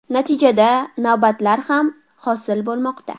Natijada, navbatlar ham hosil bo‘lmoqda.